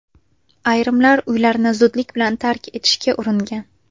Ayrimlar uylarini zudlik bilan tark etishga uringan.